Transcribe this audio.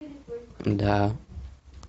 да